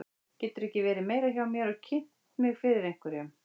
Geturðu ekki verið meira hjá mér eða kynnt mig fyrir einhverjum.